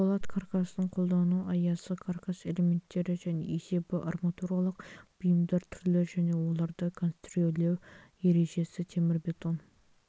болат каркасын қолдану аясы каркас элементтері және есебі арматуралық бұйымдар түрлері және оларды конструирлеу ережесі темірбетон